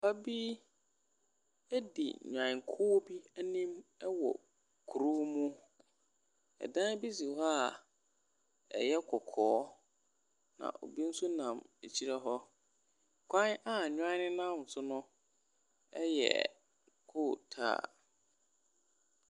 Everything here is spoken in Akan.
Mmaa sa so ɛso nsuo wɔ dadesɛn kɛseɛ mu. Wɔn nyinaa fura ntoma wɔ wɔn asen. Ebi ɛhyɛ mpaboa na ebi nso nam daade. Ɛmaa yi nyinaa rekɔ faako. Pepɔ tenten so wɔ wɔn anim.